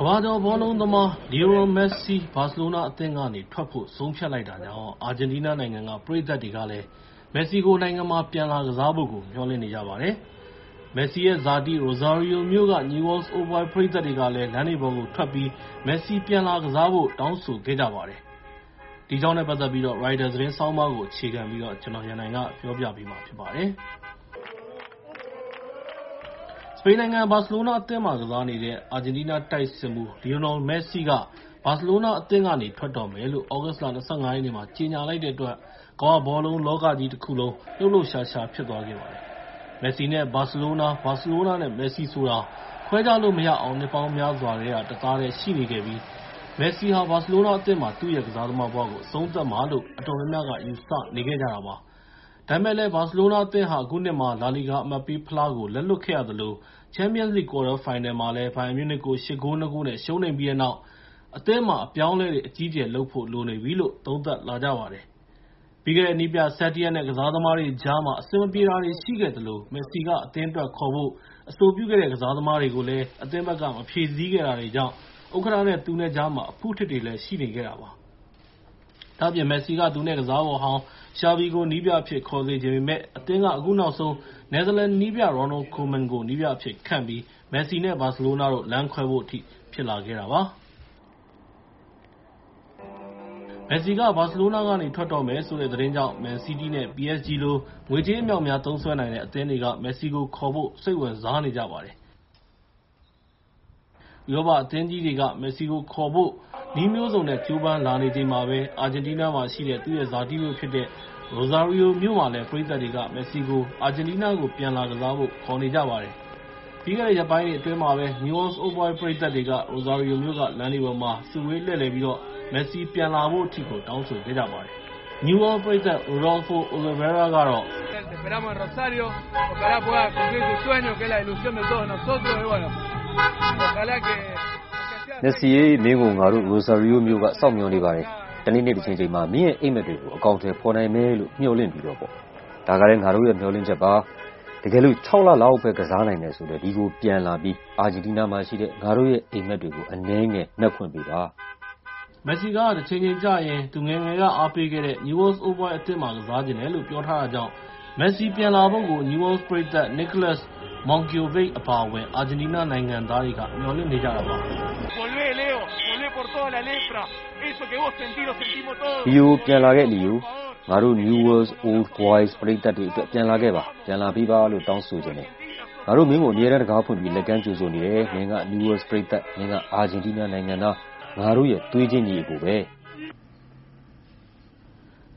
ကမ္ဘာကျော်ဘောလုံးသမား လီယိုနယ်မက်ဆီ ဘာစီလိုနာအသင်းကနေထွက်ဖို့ဆုံးဖြတ်လိုက်တာကြောင့်၊ အာဂျင်တီးနားနိုင်ငံက ပရိသတ်တွေကလည်း နိုင်ငံမှာ ပြန်လာကစားဖို့. မျှော်လင့်နေကြပါတယ်။ မက်ဆီရဲ့ ဇာတိ Rosario မြို့က Newell Old Boys ပရိသတ်တွေကလည်း လမ်းတွေပေါ်ကိုထွက်ပြီး မက်ဆီပြန်လာဖို့ ခေါ်နေကြတဲ့အကြောင်း ရိုက်တာသတင်းဆောင်းပါးကို အခြေခံပြီး ကိုရန်နိုင်က ပြောပြပေးမှာဖြစ်ပါတယ်။ စပိန်နိုင်ငံဘာစီလိုနာအသင်းမှာ ကစားနေတဲ့ အာဂျင်တီးနားတိုက်စစ်မှူး လီယိုနယ်မက်ဆီက ဘာစီလိုနာအသင်းကနေ ထွက်တော့မယ်လို့ သြဂုတ်လ ၂၅ ရက်နေ့မှာ ကြေညာလိုက်တဲ့အတွက် ကမ္ဘာဘောလုံးလောကကြီးတခုလုံး လှုပ်လှုပ်ရှားရှား ဖြစ်သွားခဲ့ပါတယ်။ မက်ဆီ နဲ့ ဘာစီလိုနာ၊ ဘာစီလိုနာနဲ့မက်ဆီဆိုတာ ခွဲခြားလို့မရအောင် နှစ်ပေါင်းများစွာတသားတည်းရှိနေခဲ့ပြီး မက်ဆီဟာ ဘာစီလိုနာအသင်းမှာပဲ သူ့ရဲ့ ကစားသမားဘဝကို အဆုံးသတ်မှာလို့ အတော်များများက ယူဆထားကြတာပါ။ ဒါပေမဲ့ ဘာစီလိုနာအသင်းဟာ အခုနှစ်မှာ လာလီဂါအမှတ်ပေးဖလားကို လက်လွှတ်ခဲ့ရသလို၊ ပြီးခဲ့တဲ့ ချန်ပီယံလိဂ် ကွာတားဖိုင်နယ်ပွဲစဉ်မှာ ဘိုင်ယန်မြူးနစ်ကို ၈ ဂိုး ၂ ဂိုး နဲ့ ရှုံးနိမ့်ခဲ့ပြီးတဲ့နောက် အသင်းမှာ အပြောင်းအလဲ အကြီးအကျယ်လုပ်ဖို့လိုနေပြီလို့ သုံးသပ်လာကြပါတယ်။ ပြီးခဲ့တဲ့ နည်းပြ Setien နဲ့ ကစားသမားတွေကြားမှာ အဆင်မပြေတာတွေရှိခဲ့သလို၊ မက်ဆီက အသင်းအတွက် ခေါ်ဖို့ အဆိုပြုတဲ့ ကစားသမားတွေ အသင်းက မဖြည့်ဆည်းခဲ့တာတွေကြောင့် ဥက္ကဋ္ဌနဲ့ သူနဲ့ ကြားမှာလည်း အဖုအထစ်တွေ ရှိနေခဲ့တာပါ။ ဒါ့အပြင် မက်ဆီက သူနဲ့ကစားဖော်ဟောင်း Xavi ကို နည်းပြအဖြစ် ခေါ်စေချင်ပေမယ့်၊ အသင်းက အခုနောက်ဆုံး နယ်သာလန်နည်းပြ Ronald Koeman ကို နည်းပြအဖြစ်ခန့်ခဲ့ပြီး၊ မက်ဆီ နဲ့ ဘာစီလိုနာ လမ်းခွဲဖို့အထိ ဖြစ်လာခဲ့တာပါ။ မက်ဆီက ဘာစီလိုနာကနေ ထွက်တော့မယ်ဆိုတဲ့ သတင်းကြောင့်၊ မန်စီးတီး နဲ့ PSG လို ငွေကြေးအမြောက်အများသုံးစွဲနိုင်တဲ့ အသင်းတွေက မက်ဆီကို ခေါ်ဖို့ စိတ်ဝင်စားနေကြပါတယ်။ ဥရောပအသင်းကြီးတွေက မက်ဆီကိုခေါ်နိုင်ဖို့ နည်းမျိုးစုံနဲ့ ကြိုးပမ်းလာနေချိန်မှာပဲ၊ အာဂျင်တီးနားမှာရှိတဲ့ သူ့ရဲ့ ဇာတိမြို့ဖြစ်တဲ့ Rosario မြို့မှာလည်း ပရိသတ်တွေက မက်ဆီကို အာဂျင်တီးနားပြန်လာကစားဖို့ ခေါ်နေကြပါတယ်။ ပြီးခဲ့တဲ့ရက်ပိုင်းတွေအတွင်းမှာပဲ Newell ပရိသတ်တွေဟာ Rosario မြို့က လမ်းတွေပေါ်မှာ စုဝေးလှည့်လည်ပြီးတော့ မက်ဆီ ပြန်လာဖို့ တောင်းဆိုခဲ့ကြပါတယ်။ Newell’s ပရိသတ် Rodlfo Olivera ကတော့ "မက်ဆီ ရေ- မင်းကို ငါတို့ Rosario မြိုက စောင့်မျှော်နေပါတယ်။ တနေတနေ့တချိန်ချိန်မှာ မင်းရဲ့ အိပ်မက်တွေကို အကောင်အထည်ဖော်နိုင်မယ်လို့မျှော်လင့်ပြီး၊ ဒါကလည်း ငါတို့ရဲ့ မျှော်လင့်ချက်ပါ။ တကယ်လို့ ၆ လ လောက်ပဲ ကစားနိုင်တယ်ဆိုလည်း ဒီကိုပြန်လာနိုင်ပြီး အာဂျင်တီးနားမှာရှိတဲ့ ငါတို့ရဲ့ အိပ်မက်တွေကို အနည်းငယ်မက်ခွင့်ပေးပါ။ " မက်ဆီက တချိန်ချိန်ကျရင် သူ့ငယ်ငယ်က အားပေးခဲ့တဲ့ Rosario မြို့က Newell’s Old Boys အသင်းမှာ ကစားချင်တယ်လို့ ပြောထားတာကြောင့် မက်ဆီကို ပြန်လာဖို့ Newell’s ပရိသတ် Niolas Monkiovic အပါအဝင် အာဂျင်တီးနားနိုင်ငံသားတွေက မျှော်လင့်နေကြတာပါ။ "လီယို ပြန်လာခဲ့ လီယို၊ ငါတို့ Newelll’s Old Boys ပရိသတ်တွေအတွက် ပြန်လာခဲ့ပါ၊ ပြန်လာပေးပါလို့ တောင်းဆိုချင်တယ်။ ငါတို့ မင်းကို အမြဲတမ်းတံခါးဖွင့်ပြီး လက်ကမ်းကြိုဆိုနေတယ်။ မင်းက Newell’s ပရိသတ်၊ မင်းက အာဂျင်တီးနားနိုင်ငံသား၊ ငါတို့ရဲ့ သွေးချင်း ညီအစ်ကိုပဲ။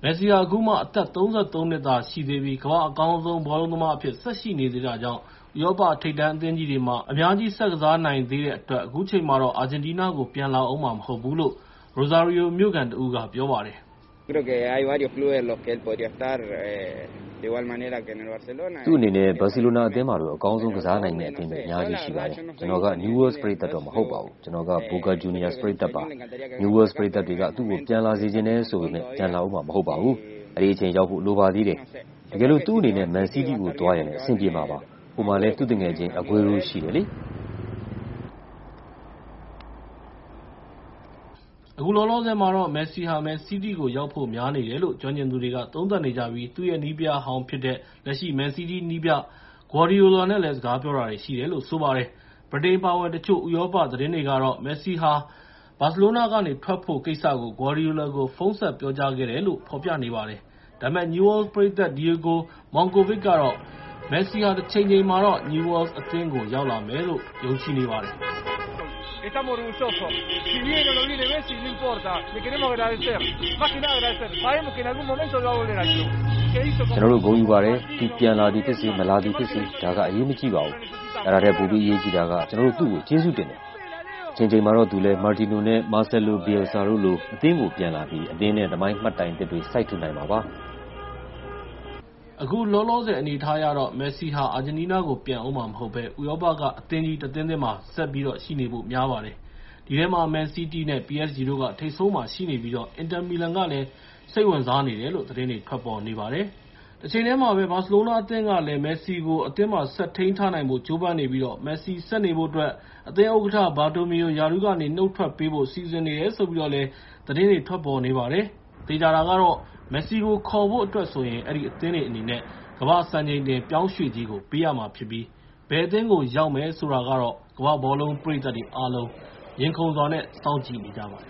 " မက်ဆီဟာ အခုမှ အသက် ၃၃ နှစ် သာရှိသေးပြီး ၊ ကမ္ဘာ့အကောင်းဆုံးဘောလုံးသမားတစ်ယောက်အဖြစ် ဆက်ရှိနေသေးတာကြောင့် ဥရောပထိပ်တန်းအသင်းကြီးတွေမှာ အများကြီး ဆက်ကစားနိုင်သေးတဲ့အတွက် အခုချိန်မှာတော့ အာဂျင်တီးနားနိုင်ငံကို ပြန်လာအုံးမှာ မဟုတ်သေးဘူးလို့ Rosario မြို့ခံတဦးက ပြောပါတယ်။ "သူ့အနေနဲ့ ဘာစီလိုနာအသင်းမှာလို အကောင်းဆုံးကစားနိုင်မယ့် အသင်းတွေ အများအပြားရှိပါတယ်။ ကျနော်က Newell’s ပရိသတ်မဟုတ်ပါဘူး ကျနော်က Boca Juniors ပရိသတ်ပါ။ Newell’s ပရိသတ်တွေက သူ့ကို ပြန်လာစေချင်တယ်ဆိုပေမယ့်၊ ပြန်လာအုံးမှာ မဟုတ်ပါဘူး အဲဒီအချိန်ရောက်ဖို့ လိုပါသေးတယ်။ တကယ်လို့ သူ့အနေနဲ့ မန်စီးတီကို သွားရင်လည်း အဆင်ပြေမှာပါ ဟိုမှာလည်း သူ့သူငယ်ချင်း အဂွေးရိုးရှိတယ်လေ။" အခုလောလောဆယ်မှာတော့ မက်ဆီဟာ မန်စီးတီးရောက်ဖို့များနေတယ်လို့ ကျွမ်းကျင်သူတွေက သုံးသပ်နေကြပြီး၊ သူ့ရဲ့နည်းပြဟောင်းဖြစ်တဲ့ လက်ရှိ မန်စီးတီးနည်းပြ ဂွါဒီယိုလာ နဲ့လည်း စကားပြောတာတွေရှိတယ်လို့ ဆိုပါတယ်။ ဗြိတိန်အပါအဝင် တချို့ဥရောပသတင်းတွေကဆို မက်ဆီဟာ ဘာစီလိုနာကနေ ထွက်ဖို့ကိစ္စကို ဂွါဒီယိုလာကို ဖုန်းဆက်ပြောကြားခဲ့တယ်လို့ ဖော်ပြနေပါတယ်။ ဒါပေမဲ့ Newell’s ပရိသတ် Diego Monkovic ကတော့ မက်ဆီဟာ တချိန်ချိန်မှာတော့ Newell’s အသင်းကိုရောက်လာမယ်လို့ ယုံကြည်နေပါတယ်။ "ကျနော်တို့ ဂုဏ်ယူပါတယ်။ သူပြန်လာသည်ဖြစ်စေ၊ မလာသည်ဖြစ်စေ၊ ဒါက အရေးမကြီးပါဘူး။ အဲဒါထက် ပိုပြီးအရေးကြီးတာက ကျနော်တို့ သူ့ကို ကျေးဇူးတင်တယ်၊ တချိန်ချိန်မှာတော့ သူလည်း Martino နဲ့ Marcelo Bielsa တို့လို အသင်းကို သူပြန်လာပြီး အသင်းနဲ့ သမိုင်းမှတ်တိုင်သစ်တွေ စိုက်ထူနိုင်မှာပါ။ " အခုလောလောဆယ်အနေအထားအရ ၊ မက်ဆီ အနေနဲ့ အာဂျင်တီးနားကို ပြန်လာဦးမှာမဟုတ်ဘဲ ၊ ဥရောပက အသင်းကြီးတသင်းသင်းမှာပဲ ဆက်ရှိနေဖို့များပါတယ်။ ဒီထဲမှာ မန်စီးတီး နဲ့ PSG တို့က ထိပ်ဆုံးမှာရှိနေပြီး ၊ အင်တာမီလန်ကလည်း စိတ်ဝင်စားနေတယ်လို့ သတင်းတွေထွက်နေပါတယ်။ သေချာတာကတော့ မက်ဆီကိုခေါ်နိုင်ဖို့အတွက်ဆိုရင် အဲဒီအသင်းအနေနဲ့ ကမ္ဘာ့စံချိန်တင်ပြောင်းရွှေ့ကြေးကို ပေးရမှာဖြစ်ပြီး၊ ဘယ်အသင်းကို ရောက်မယ်ဆိုတာကတော့ ကမ္ဘာ့ဘောလုံးပရိသတ်တွေ အားလုံး ရင်ခုန်စွာ နဲ့ စောင့်ကြည့်နေကြပါတယ်